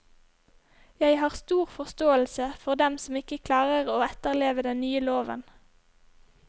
Jeg har stor forståelse for dem som ikke klarer å etterleve den nye loven.